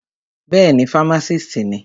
Bẹ́ẹ̀ni, fámásìst ni.